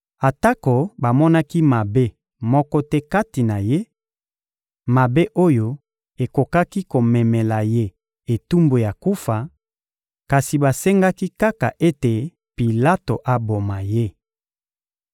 Atako bamonaki mabe moko te kati na Ye, mabe oyo ekokaki komemela Ye etumbu ya kufa, kasi basengaki kaka ete Pilato aboma Ye.